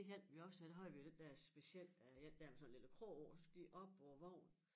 Det hjalp vi også med der havde vi jo den der speciel øh én der med sådan en lille krog på og så gik op på æ vogn